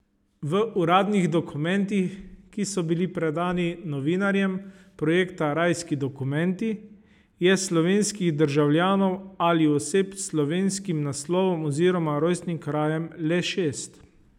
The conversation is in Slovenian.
V uradnih dokumentih, ki so bili predani novinarjem projekta Rajski dokumenti, je slovenskih državljanov ali oseb s slovenskim naslovom oziroma rojstnim krajem le šest.